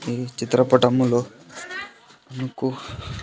ఈ చిత్ర పటములో మీకు .